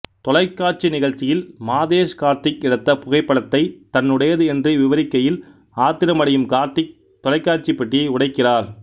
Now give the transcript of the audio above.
தொலைக்காட்சி நிகழ்ச்சியில் மாதேஷ் கார்த்திக் எடுத்த புகைப்படத்தை தன்னுடையது என்று விவரிக்கையில் ஆத்திரம் அடையும் கார்த்திக் தொலைக்காட்சி பெட்டியை உடைக்கிறார்